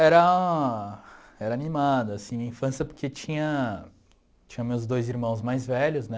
Era... Era animada, assim, a infância, porque tinha... Tinha meus dois irmãos mais velhos, né?